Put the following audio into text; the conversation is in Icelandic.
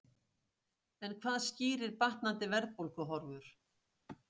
En hvað skýrir batnandi verðbólguhorfur?